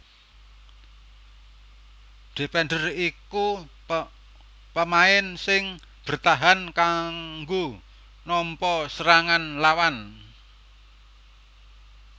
Defender iku pamain sing bertahan kanggo nampa serangan lawan